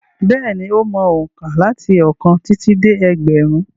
Bẹ́ẹ̀ni, ó mọ òǹkà láti ọ̀kan títí dé ẹgbẹ̀rún.